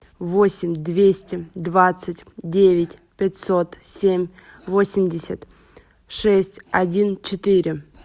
восемь двести двадцать девять пятьсот семь восемьдесят шесть один четыре